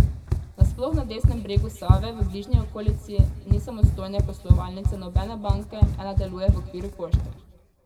Nasploh na desnem bregu Save v bližnji okolici ni samostojne poslovalnice nobene banke, ena deluje v okviru pošte.